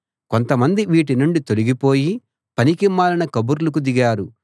కొంతమంది వీటి నుండి తొలగిపోయి పనికిమాలిన కబుర్లకు దిగారు